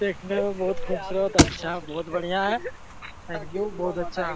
देखने में बहुत खूबसूरत अच्छा बहुत बढ़िया है अ लुक बहुत अच्छा --